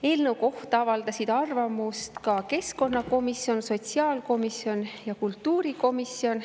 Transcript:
Eelnõu kohta avaldasid arvamust ka keskkonnakomisjon, sotsiaalkomisjon ja kultuurikomisjon.